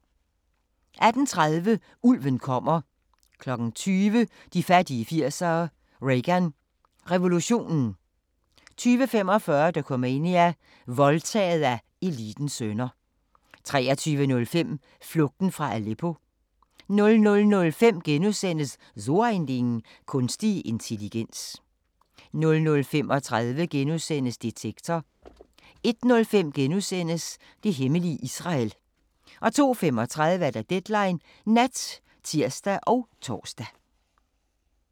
18:30: Ulven kommer 20:00: De fattige 80'ere: Reagan revolutionen 20:45: Dokumania: Voldtaget af elitens sønner 23:05: Flugten fra Aleppo 00:05: So ein Ding: Kunstig intelligens * 00:35: Detektor * 01:05: Det hemmelige Israel * 02:35: Deadline Nat (tir og tor)